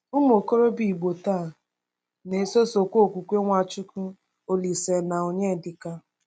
Ụmụ okorobịa Igbo taa na-esosokwa okwukwe NwaChukwu, Olísè, na Onyedika.